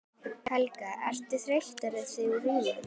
Helga: Ertu þreyttur eftir túrinn?